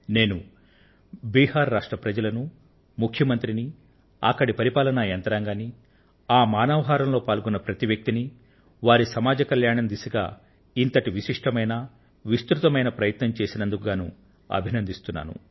నేను బిహార్ రాష్ట్ర ప్రజలనూ ముఖ్యమంత్రిని అక్కడి పరిపాలన యంత్రాంగాన్ని ఆ మానవ హారంలో పాల్గొన్న ప్రతి వ్యక్తిని వారి సమాజ సంక్షేమం దిశగా ఇంతటి విశిష్టమైన విస్తృతమైన ప్రయత్నాన్ని చేసినందుకుగాను అభినందిస్తున్నాను